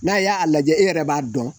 N'a y'a a lajɛ e yɛrɛ b'a dɔn